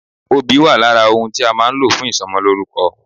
Obì wà lára ohun tí a má a nlò fún ìsomolórúko